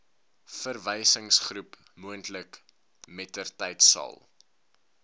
verwysingsgroep moontlik mettertydsal